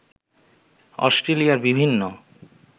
অস্ট্রেলিয়ার বিভিন্ন